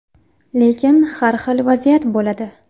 Lekin har xil vaziyat bo‘ladi.